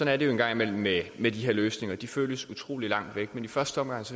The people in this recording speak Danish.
er det jo en gang imellem med med de her løsninger de føles utrolig langt væk i første omgang